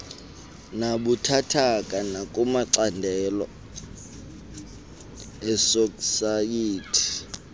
nabuthathaka abakumacandelo esosayethi